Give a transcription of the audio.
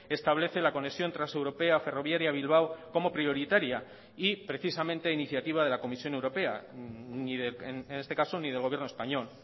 establece la conexión transeuropea ferroviaria bilbao como prioritaria y precisamente a iniciativa de la comisión europea en este caso ni del gobierno español